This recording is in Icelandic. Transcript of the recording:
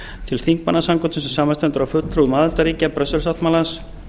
til þingmannasambandsins sem samanstendur af fulltrúum aðildarríkja brussel sáttmálans